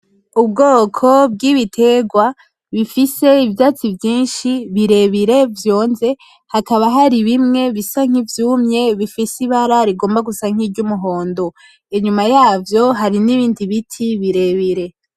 Ubwoko bw'ibiterwa bifise ivyatsi vyinshi birebire vyonze, hakaba hari bimwe bisa nk'ivyumye bifise ibara rigomba gusa nk'iryumuhondo. Inyuma yavyo hari ni bindi biti birebire.